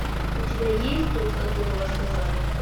у тебя есть тот которого заказали